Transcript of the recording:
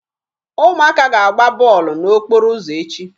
Ụmụaka ga-agba bọọlụ n'okporo ụzọ echi.